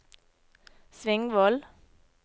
Svingvoll